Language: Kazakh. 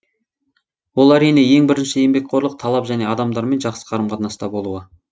ол әрине ең бірінші еңбекқорлық талап және адамдармен жақсы қарым қатынаста болуы